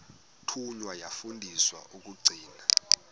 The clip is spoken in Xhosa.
thunywa yafundiswa ukugcina